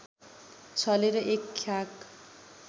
छलेर एक ख्याक